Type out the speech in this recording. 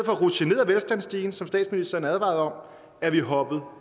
at rutsje ned ad velstandsstigen som statsministeren advarede om er vi hoppet